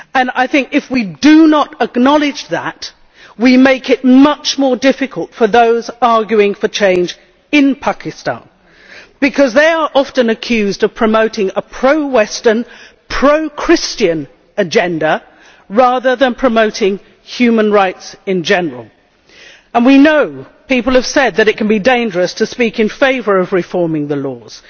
I think that if we do not acknowledge that we make it much more difficult for those arguing for change in Pakistan because they are often accused of promoting a pro Western, pro Christian agenda rather than promoting human rights in general and we know, people have said, that it can be dangerous to speak in favour of reforming the laws,